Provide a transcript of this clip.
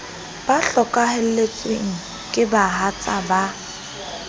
ba hlokahalletsweng ke bahatsa ba